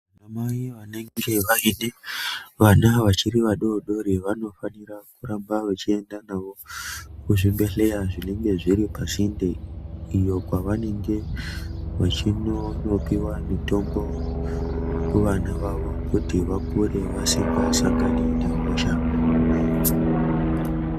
Mai vanenge vaine vana vanenge vari vadodori vanofanire kuramba vechienda navo kuchibhedhlera zvinenge zviri pasinde, iyo kwavanenge vachindopiwa mitombo kuvana vavo, kuti vakure vasingasangani nehosha.